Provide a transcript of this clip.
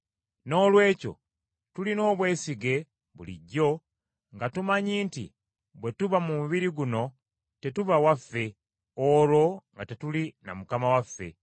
Noolwekyo tulina obwesige bulijjo nga tumanyi nti bwe tuba mu mubiri guno, tetuba waffe, olwo nga tetuli na Mukama waffe.